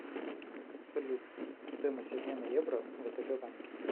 салют стоимость обмена евро в втб банке